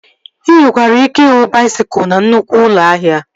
Ị nwekwara ike ịhụ baisikụl na nnụkwụ ụlọ ahịa